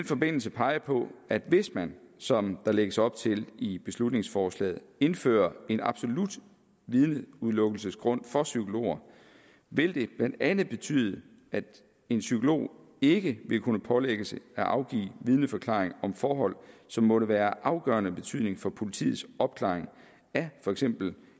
forbindelse pege på at hvis man som der lægges op til i beslutningsforslaget indfører en absolut vidneudelukkelsesgrund for psykologer vil det blandt andet betyde at en psykolog ikke vil kunne pålægges at afgive vidneforklaring om forhold som måtte være af afgørende betydning for politiets opklaring af for eksempel